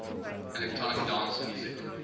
electronic dance music